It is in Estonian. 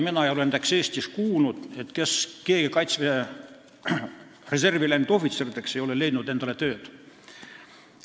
Mina ei ole näiteks Eestis kuulnud, et keegi kaitseväe reservi läinud ohvitseridest ei oleks leidnud tööd.